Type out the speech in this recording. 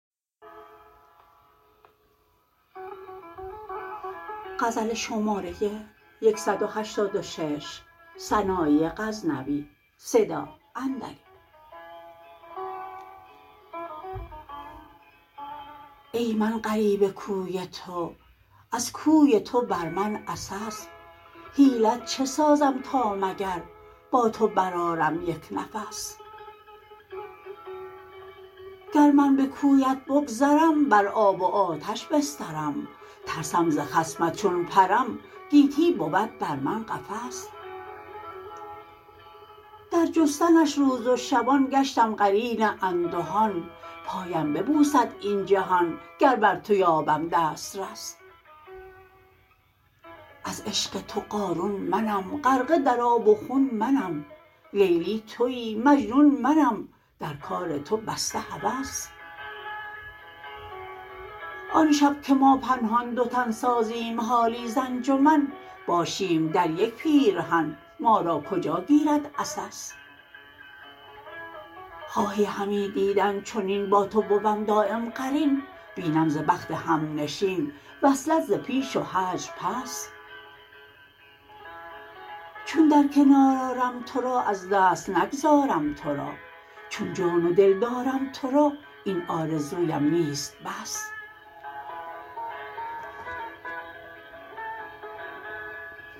ای من غریب کوی تو از کوی تو بر من عسس حیلت چه سازم تا مگر با تو برآرم یک نفس گر من به کویت بگذرم بر آب و آتش بسترم ترسم ز خصمت چون پرم گیتی بود بر من قفس در جستنش روز و شبان گشتم قرین اندهان پایم ببوسد این جهان گر بر تو یابم دسترس از عشق تو قارون منم غرقه در آب و خون منم لیلی تویی مجنون منم در کار تو بسته هوس آن شب که ما پنهان دو تن سازیم حالی ز انجمن باشیم در یک پیرهن ما را کجا گیرد عسس خواهی همی دیدن چنین با تو بوم دایم قرین بینم ز بخت همنشین وصلت ز پیش و هجر پس چون در کنار آرم ترا از دست نگذارم ترا چون جان و دل دارم ترا این آرزویم نیست بس